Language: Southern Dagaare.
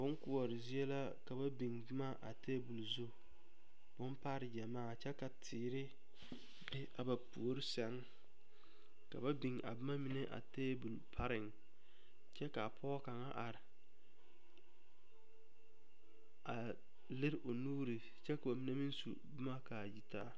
Bonkoɔre zie la ka ba biŋ boma a tebol zu bompare gyamaa kyɛ ka teere be a ba puori sɛŋ ka ba biŋ a boma mine a tebol pareŋ ba kyɛ ka a pɔge kaŋa are a lere o nuuri kyɛ ka ba mine meŋ su boma ka a yitaa.